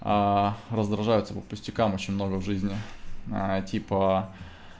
раздражаются по пустякам очень много в жизни а типа